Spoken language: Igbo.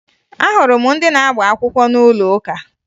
Ahụrụ m ndị na-agba akwụkwọ n'ụlọ ụka